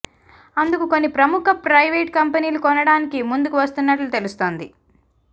అందుకు కొన్ని ప్రముఖ ప్రయివేట్ కంపెనీలు కొనడానికి ముందుకు వస్తున్నట్లు తెలుస్తోంది